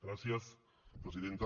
gràcies presidenta